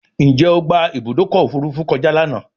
Njé o gbà Ibùdókọ̀ òfurufú kọjá lànà?